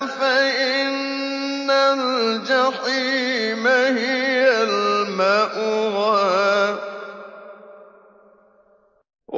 فَإِنَّ الْجَحِيمَ هِيَ الْمَأْوَىٰ